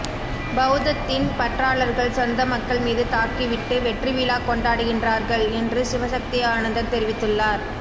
பெளத்தத்தின் பற்றாளர்கள் சொந்த மக்கள் மீது தாக்கிவிட்டு வெற்றிவிழாக் கொண்டாடுகின்றார்கள் என்று சிவசக்தி ஆனந்தன் தெரிவித்துள்ளார்